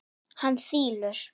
Hann þylur